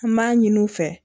An b'a ɲini u fɛ